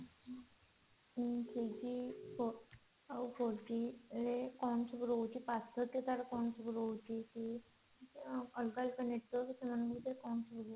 three G ଆଉ four G ଅ କଣ ସବୁ ରହୁଛି ପାର୍ଥକ୍ୟ ତାର କଣ ସବୁ ରହୁଛି କି ଅଲଗା ଅଲଗା network ସେମାନଙ୍କ ଭିତରେ କଣ ସବୁ ରହୁଛି